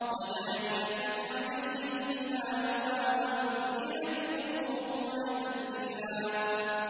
وَدَانِيَةً عَلَيْهِمْ ظِلَالُهَا وَذُلِّلَتْ قُطُوفُهَا تَذْلِيلًا